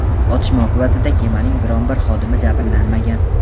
otishma oqibatida kemaning biron bir xodimi jabrlanmagan.